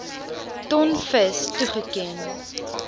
ton vis toegeken